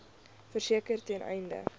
verseker ten einde